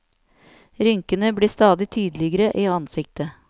Rynkene blir stadig tydeligere i ansiktet.